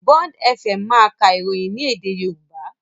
Bond Fm máa ka ìròyìn ní èdè Yorùbá.